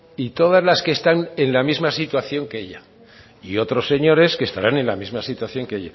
y todas las que están en la misma situación que ella y otros señores que estarán en la misma situación que